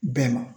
Bɛɛ ma